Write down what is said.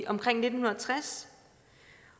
omkring nitten tres